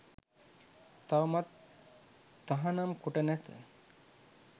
තවමත් තහනම් කොට නැත